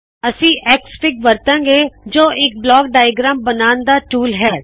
ਅਸੀ ਐਕਸਐਫਆਈਜੀ ਵਰਤਾਂ ਗੇ ਜੋ ਇਕ ਬਲਾਕ ਡਾਇਆਗ੍ਰੈਮ ਬਨਾਉਣ ਦਾ ਟੂਲ ਹੈ